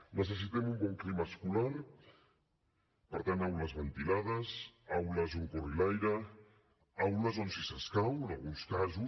necessitem un bon clima escolar per tant aules ventilades aules on corri l’aire aules on si s’escau en alguns casos